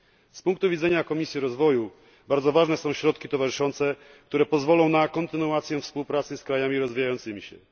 Z punktu widzenia Komisji Rozwoju bardzo ważne są środki towarzyszące, które pozwolą na kontynuację współpracy z krajami rozwijającymi się.